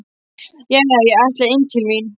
Jæja, ég ætla inn til mín.